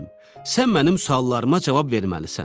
sən mənim suallarıma cavab verməlisən.